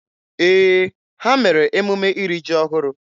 Ee, ha mere emume iri ji ọhụrụ.